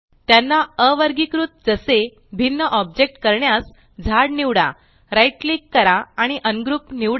त्यांना अवर्गीकृत जसे भिन्न ऑब्जेक्ट करण्यास झाड निवडा right क्लिक करा आणि अनग्रुप निवडा